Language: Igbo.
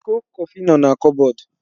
Iko Kọfị no na kupbod